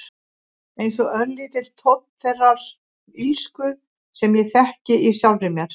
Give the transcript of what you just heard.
Einsog örlítill tónn þeirrar illsku sem ég þekki í sjálfri mér.